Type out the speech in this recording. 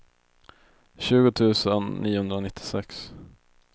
tjugo tusen niohundranittiosex